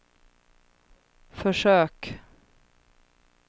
försök